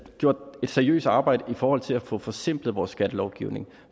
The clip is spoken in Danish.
seriøst arbejde i forhold til at få forsimplet vores skattelovgivning